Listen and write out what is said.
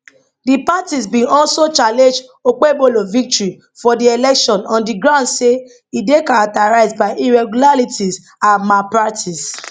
di parties bin also challenge okpebholo victory for di election on di grounds say e dey characterised by irregularities and malpractice